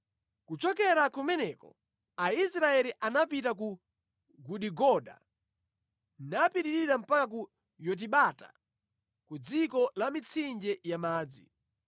Kuchokera kumeneko Aisraeli anapita ku Gudigoda, napitirira mpaka ku Yotibata, ku dziko la mitsinje ya madzi.